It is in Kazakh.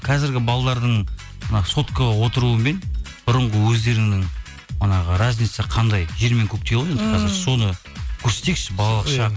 қазіргі балалардың мына соткаға отыруымен бұрынғы өздерінің манағы разница қандай жер мен көктей ғой соны көрсетейікші балалық шақ